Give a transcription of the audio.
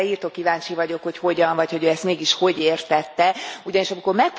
Hát erre irtó kíváncsi vagyok, hogy hogyan, vagy hogy ő ezt mégis hogyan értette, ugyanis amikor